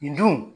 Nin dun